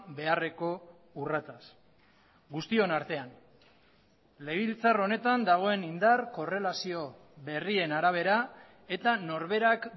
beharreko urratsaz guztion artean legebiltzar honetan dagoen indar korrelazio berrien arabera eta norberak